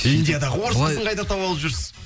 индиядағы орыс қызын қайдан тауып алып жүрсіз